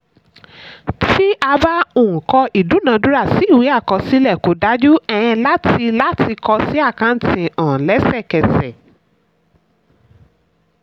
tí a bá um kọ ìdúnadúrà sí ìwé àkọsílẹ̀ kò dájú um láti láti kọ sí àkáǹtì um lẹ́sẹkẹsẹ.